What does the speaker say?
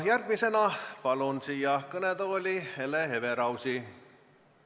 Järgmisena palun siia kõnetooli Hele Everausi.